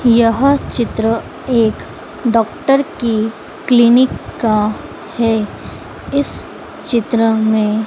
यह चित्र एक डॉक्टर की क्लीनिक का है इस चित्र में--